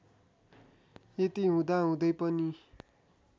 यति हुँदाहुँदै पनि